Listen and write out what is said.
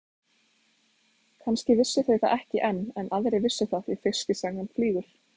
Kannski vissu þau það ekki enn en aðrir vissu það því fiskisagan flýgur.